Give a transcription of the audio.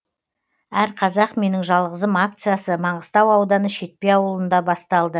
әрқазақ менің жалғызым акциясы маңғыстау ауданы шетпе ауылында басталды